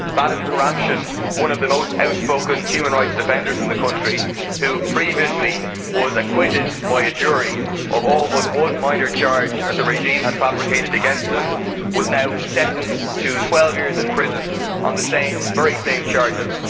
Vadim Kuramshin, one of the most outspoken human rights defenders in the country who previously was acquitted by a jury of all but one minor charge that the regime had fabricated against him was now sentenced to 12 years in prison on the very same charges.